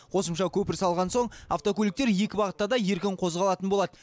қосымша көпір салған соң автокөліктер екі бағытта да еркін қозғалатын болады